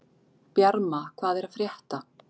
Bjarma, hvað er að frétta?